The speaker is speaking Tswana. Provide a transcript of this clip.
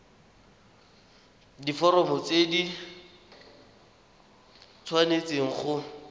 diforomo tse di tshwanesteng go